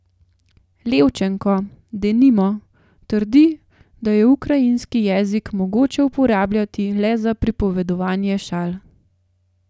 Levčenko, denimo, trdi, da je ukrajinski jezik mogoče uporabljati le za pripovedovanje šal ...